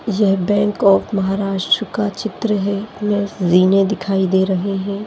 ये bank of Maharashtra का चित्र है इसमे जीने दिखाई दे रहे है।